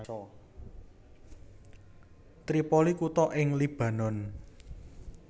Tripoli kutha ing Libanon